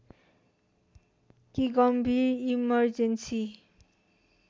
कि गम्भीर इमर्जेन्‍सी